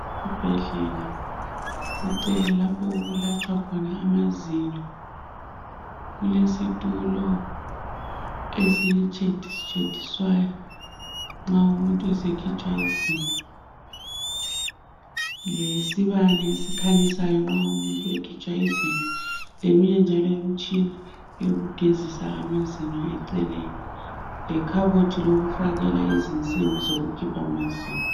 Esibhedlela, kucele lapho okulatshwa khona amazinyo. Kulesitulo esitsheditshediswayo nxa umuntu esekhitshwa izinyo, lesibane esikhanyisayo nxa umuntu ekhitshwa izinyo, leminye njalo imitshina yokugezisa amazinyo eceleni, lekhabothi lokufakela izinsimbi zokukhipha amazinyo.